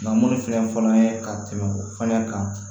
Nka minnu filɛ nin fɔlɔ an ye ka tɛmɛ o fana kan